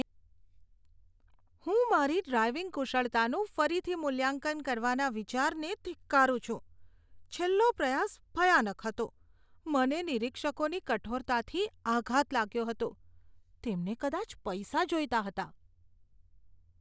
હું મારી ડ્રાઇવિંગ કુશળતાનું ફરીથી મૂલ્યાંકન કરવાના વિચારને ધિક્કારું છું. છેલ્લો પ્રયાસ ભયાનક હતો. મને નિરીક્ષકોની કઠોરતાથી આઘાત લાગ્યો હતો, તેમને કદાચ પૈસા જોઈતા હતા.